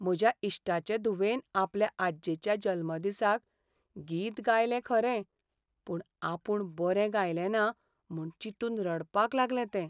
म्हज्या इश्टाचे धुवेन आपल्या आज्जेच्या जल्मदिसाक गीत गायलें खरें, पूण आपूण बरें गायलें ना म्हूण चिंतून रडपाक लागलें तें.